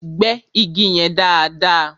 Gbẹ́ igi yẹn dáàdaa!